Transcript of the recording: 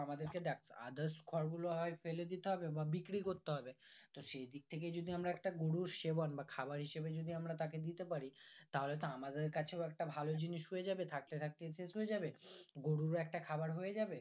আমাদেরকে দেখ others খড় গুলো হয় ফেলে দিতে হবে বা বিক্রি করতে হবে তো সেই দিক থেকে যদি একটা গরু সেবন বা খাবার হিসাবে যদি আমরা তাকে দিতে পারি তাহলে তো আমাদের কাছেও একটা ভালো জিনিস হয়ে যাবে থাকতে থাকতে শেষ হয়ে যাবে গুরুরও একটা খাবার হয়ে যাবে